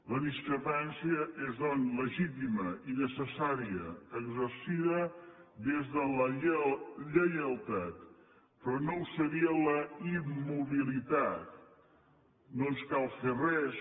la discrepància és doncs legítima i necessària exercida des de la lleialtat però no ho seria la immobilitat no ens cal fer res